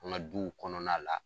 An ka duw kɔnɔna la.